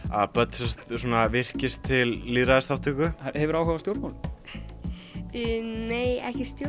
að börn virkist til lýðræðisþátttöku hefurðu áhuga á stjórnmálum nei